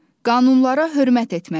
Qanunlara hörmət etməliyik.